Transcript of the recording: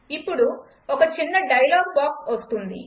ఇప్పుడు ఒక చిన్న డైలాగ్ బాక్స్ వస్తుంది